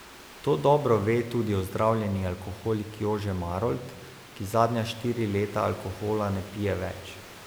To dobro ve tudi ozdravljeni alkoholik Jože Marolt, ki zadnja štiri leta alkohola ne pije več.